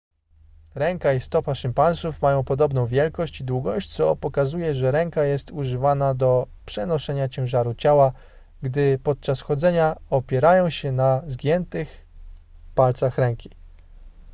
ręka i stopa szympansów mają podobną wielkość i długość co pokazuje że ręka jest używana do przenoszenia ciężaru ciała gdy podczas chodzenia opierają się na zgiętych palcach ręki